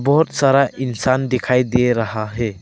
बहोत सारा इंसान दिखाई दे रहा है।